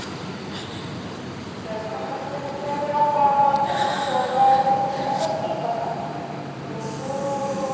ଶିଳ୍ପ କ୍ଷେତ୍ର ବିଷୟରେ ଆଉ କଣ କହିବି ତୁ ଯୋଉ ଗୁଡା କହିଲୁ ସେଗୁଡା ଠିକ କଥା କିନ୍ତୁ